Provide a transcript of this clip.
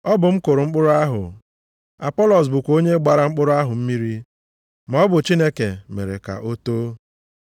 Ọ bụ m kụrụ mkpụrụ ahụ, Apọlọs bụkwa onye gbara mkpụrụ ahụ mmiri, maọbụ Chineke mere ka o too.